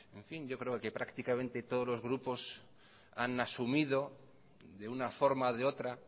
yo creo que prácticamente todos los grupos han asumido de una forma o de otra